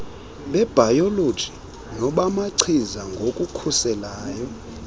bebhayoloji nobamachiza ngokukhuselayo